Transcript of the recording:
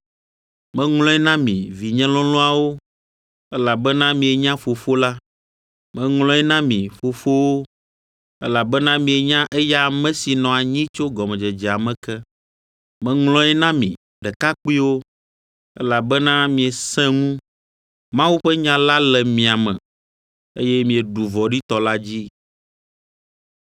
Meŋlɔe na mi, vinye lɔlɔ̃awo, Elabena mienya Fofo la. Meŋlɔe na mi, fofowo, Elabena mienya eya ame si nɔ anyi tso gɔmedzedzea me ke. Meŋlɔe na mi, ɖekakpuiwo, Elabena miesẽ ŋu, Mawu ƒe nya la le mia me, Eye mieɖu vɔ̃ɖitɔ la dzi.